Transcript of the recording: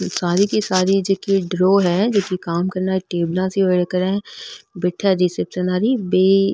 सारी की सारी जीकी ड्रॉ है जीकी काम --